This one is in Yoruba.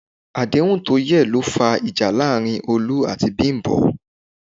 Àdéhùn tó yẹ̀ ló fa ìjà láàárín Olú àti Bímpé